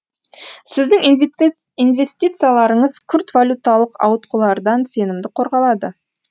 сіздің инвестицияларыңыз күрт валюталық ауытқулардан сенімді қорғалады